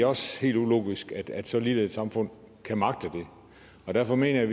også helt ulogisk at så lille et samfund kan magte det og derfor mener jeg